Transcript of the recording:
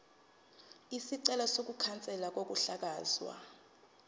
isicelo sokukhanselwa kokuhlakazwa